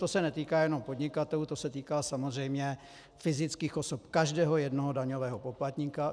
To se netýká jenom podnikatelů, to se týká samozřejmě fyzických osob, každého jednoho daňového poplatníka.